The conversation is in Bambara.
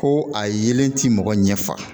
Ko a yelen ti mɔgɔ ɲɛ fa